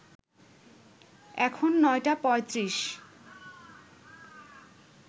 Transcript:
এখন নটা পঁয়ত্রিশ